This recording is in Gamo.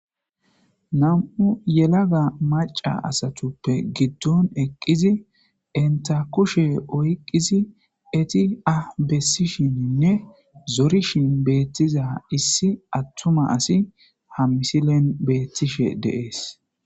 nam7u yelaga maca asatuppe giddon eqqizi enta kushe oyqqizi eti ah bessishininne zorishin beettiza issi attuma asi ha misilen beettishe deees